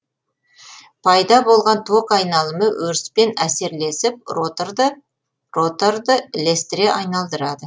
пайда болған ток айнымалы өріспен әсерлесіп роторды ілестіре айналдырады